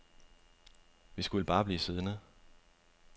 Vi skulle bare blive siddende.